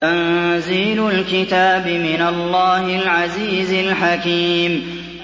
تَنزِيلُ الْكِتَابِ مِنَ اللَّهِ الْعَزِيزِ الْحَكِيمِ